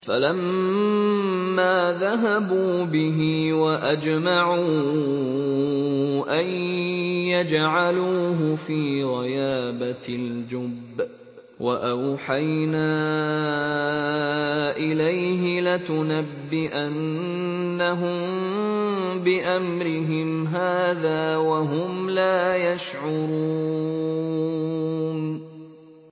فَلَمَّا ذَهَبُوا بِهِ وَأَجْمَعُوا أَن يَجْعَلُوهُ فِي غَيَابَتِ الْجُبِّ ۚ وَأَوْحَيْنَا إِلَيْهِ لَتُنَبِّئَنَّهُم بِأَمْرِهِمْ هَٰذَا وَهُمْ لَا يَشْعُرُونَ